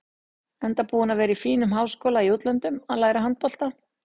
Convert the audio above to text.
Enda búinn að vera í fínum háskóla í útlöndum að læra handbolta.